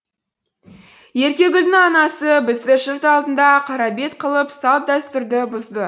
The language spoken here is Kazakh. еркегүлдің анасы бізді жұрт алдында қарабет қылып салт дәстүрді бұзды